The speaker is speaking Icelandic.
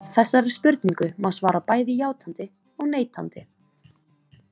Þessari spurningu má svara bæði játandi og neitandi.